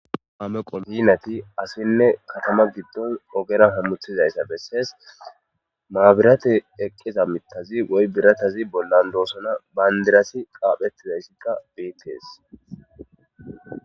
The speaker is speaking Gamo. Kame qobinati asinne katama giddon ogera hammuthizayssa bessees maabirate eqqiza mittazi woy biratazi bollan doosona bayndirasi qaaphettizayssita biittes.